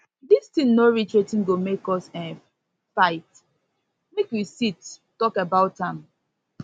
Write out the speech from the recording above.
dis thing no reach wetin go make um us um fight make we sit talk about am